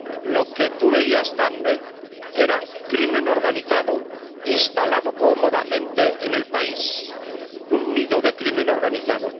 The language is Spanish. Lo que tú veías, Daphne, era crimen organizado instalado cómodamente en el país, un nido de crimen organizado.